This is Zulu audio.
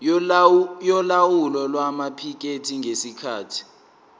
yolawulo lwamaphikethi ngesikhathi